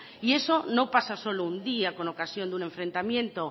y eso no pasa no solo un día con ocasión de un enfrentamiento